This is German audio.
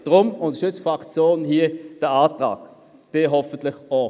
Deshalb unterstützt die Fraktion diesen Antrag und Sie hoffentlich auch.